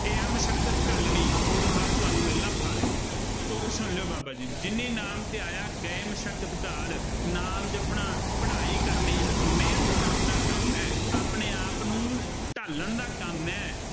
ਇਹ ਆ ਮਸ਼ਕਤ ਘਾਲਣੀ। ਉਹ ਤੋਂ ਬਾਅਦ ਤੁਹਾਨੂੰ ਮਿਲਣਾ ਫਲ, ਤੁਕ ਸੁਣ ਲਉ ਬਾਬਾ ਜੀ ਦੀ ਜਿਨੀ ਨਾਮੁ ਧਿਆਇਆ ਗਏ ਮਸਕਤਿ ਘਾਲਿ। ਨਾਮ ਜਪਣਾ, ਪੜ੍ਹਾਈ ਕਰਨੀ, ਮਿਹਨਤ ਕਰਨ ਦਾ ਕੰਮ ਹੈ, ਆਪਣੇ ਆਪ ਨੂੰ ਢਾਲਣ ਦਾ ਕੰਮ ਹੈ।